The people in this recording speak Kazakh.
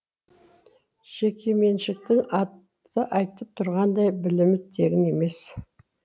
жекеменшіктің аты айтып тұрғандай білімі тегін емес